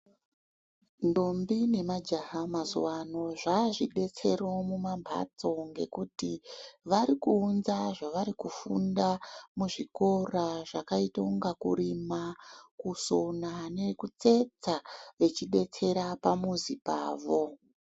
Ndombi nemajaha mazuva ano zvazvidetsero mumambatso ngekuti varikuunza zvavari kufunda muzvikora zvakaita kunge kurima kusona nekutsetsa vachidetsera pamuzi Pavo.